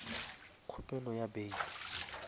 kgopelo ya bail